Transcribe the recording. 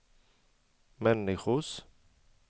människors